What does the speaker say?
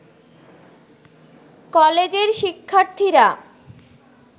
কলেজের শিক্ষার্থীরা